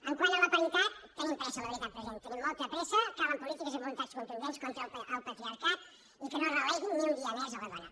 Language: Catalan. quant a la paritat tenim pressa la veritat president tenim molta pressa calen polítiques i voluntats contundents contra el patriarcat i que no es relegui ni un dia més la dona